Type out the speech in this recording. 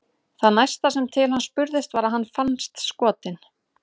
Það næsta sem til hans spurðist var að hann fannst skotinn.